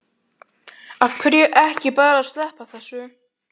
Af hverju ekki bara að sleppa þessu?